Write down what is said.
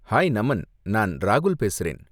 Hi Naman, நான் ராகுல் பேசுறேன்.